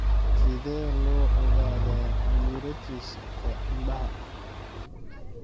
Sidee loo ogaadaa neuritis-ka indhaha?